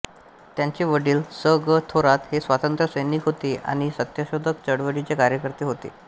त्यांचे वडील स ग थोरात हे स्वातंत्र्य सैनिक होते आणि सत्यशोधक चळवळीचे कार्यकर्ते होते